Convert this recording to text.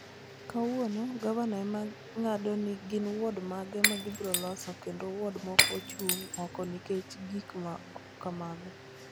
Kawuono gavana ema ng'ado ni gin Wuod mage ma gibiro loso kendo Wuod moko ochung' oko nikech gik ma kamago.